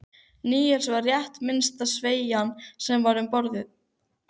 Níelsi var rétt minnsta sveðjan sem til var um borð.